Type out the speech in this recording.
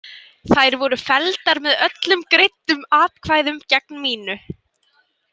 Þær voru felldar með öllum greiddum atkvæðum gegn mínu.